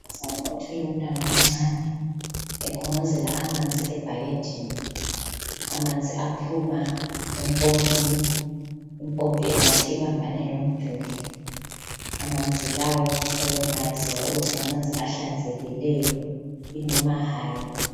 Unkazana othwele umntwana omncane ekhongozela amanzi ebhakedeni amanzi aphuma empompini impompi engathi ibambane lomduli amanzi lawo kuyabe kungayaziwa ukuthi ngamanzi ahlanzekileyo inoma hayi.